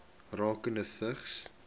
rakende vigs